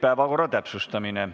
Päevakorra täpsustamine.